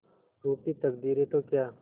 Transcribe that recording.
रूठी तकदीरें तो क्या